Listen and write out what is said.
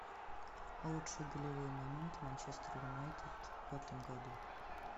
лучшие голевые моменты манчестер юнайтед в этом году